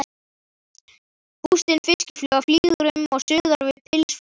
Bústin fiskifluga flýgur um og suðar við pilsfaldinn.